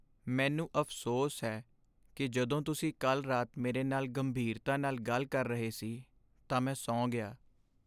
ਮੈਨੂੰ ਅਫ਼ਸੋਸ ਹੈ ਕਿ ਜਦੋਂ ਤੁਸੀਂ ਕੱਲ੍ਹ ਰਾਤ ਮੇਰੇ ਨਾਲ ਗੰਭੀਰਤਾ ਨਾਲ ਗੱਲ ਕਰ ਰਹੇ ਸੀ ਤਾਂ ਮੈਂ ਸੌਂ ਗਿਆ।